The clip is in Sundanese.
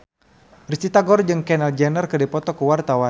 Risty Tagor jeung Kendall Jenner keur dipoto ku wartawan